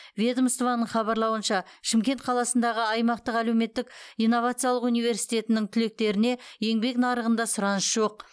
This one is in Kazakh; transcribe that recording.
ведомствоның хабарлауынша шымкент қаласындағы аймақтық әлеуметтік инновациялық университетінің түлектеріне еңбек нарығында сұраныс жоқ